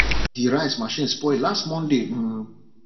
the rice machine spoil last monday um